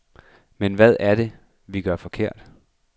Men hvad er det, vi gør forkert?